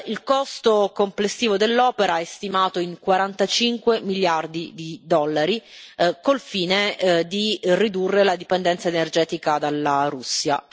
Il costo complessivo dell'opera è stimato in 45 miliardi di dollari, col fine di ridurre la dipendenza energetica dalla Russia.